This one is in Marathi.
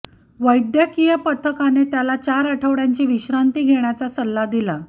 वैद्यकीय पथकाने त्याला चार आठवडय़ांची विश्रांती घेण्याचा सल्ला दिला